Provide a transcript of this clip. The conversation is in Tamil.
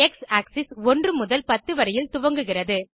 எக்ஸ் ஆக்ஸிஸ் 1 முதல் 10 வரையில் துவங்குகிறது